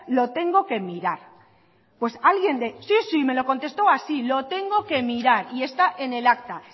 lo tengo que mirar pues alguien de sí sí me lo contestó así lo tengo que mirar y está en el acta